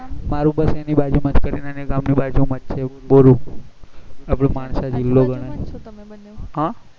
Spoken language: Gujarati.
મારું બસ એની બાજુ માં કરિના ના ગામ ના બાજુ માં બોરુ અપડા માણસા જીલો ગણાય